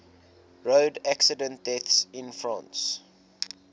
road accident deaths in france